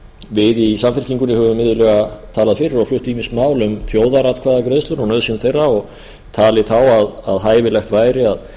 við í samfylkingunni höfum iðulega talað fyrir og flutt ýmis mál um þjóðaratkvæðagreiðslur og nauðsyn þeirra og talið þá að hæfilegt væri að